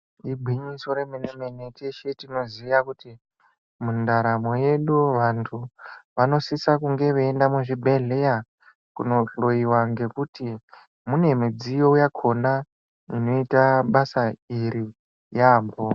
Igwinyiso remene mene teshe tinoziye kuti mundaramo yedu vantu vanosisa kunge veienda muzvibhodhlera kunohloiwa ngekuti mune midziyo yakona inoita basa iri yambo.